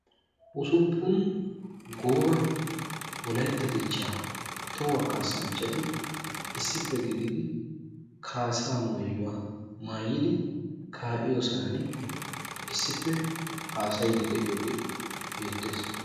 Usuppun gooba wolaytta dichchaa tohuwaa kasanchchati issippe gididi kassaa maayuwaa maayidi ka'iyoo sohuwaan issippe haasayiidi de'iyoogee beettees.